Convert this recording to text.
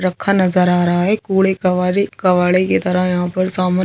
रखा नज़र आ रहा है कूड़े कबाड़े कबाड़े की तरह यहाँ पर सामान --